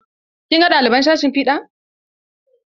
Kin ga ɗaliban sashin fiɗa?